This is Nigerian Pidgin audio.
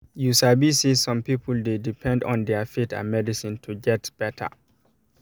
you sabi say some people dey depend on their faith and medicine to get better